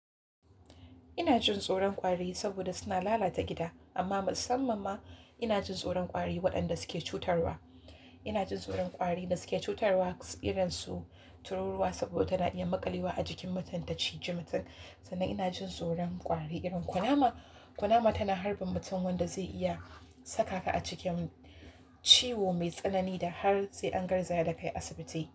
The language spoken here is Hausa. Ina jin tsoron ƙwari saboda suna lalata gida, amma musamman ma ina jin tsoron ƙwari waɗanda suke cutarwa. Ina jin tsoron ƙwari da suke cutarwa, irinsu tururuwa, saboda tana iya maƙalewa a jikin mutum ta ciji mutum. Sannan ina jin tsoron ƙwari irin kunama, kunama tana harbin mutum wanda zai iya saka ka a cikin ciwo mai tsanani da har sai an garzaya da kai asibiti.